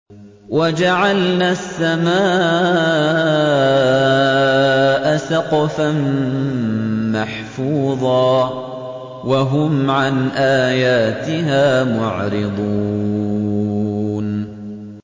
وَجَعَلْنَا السَّمَاءَ سَقْفًا مَّحْفُوظًا ۖ وَهُمْ عَنْ آيَاتِهَا مُعْرِضُونَ